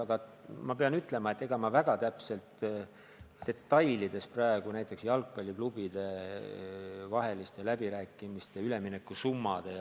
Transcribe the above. Aga ma pean ütlema, et ega ma väga täpselt, detailides üleminukusummasid, mis näiteks jalgpalliklubide vahel peetavates läbirääkimistes jutuks on, ei tea.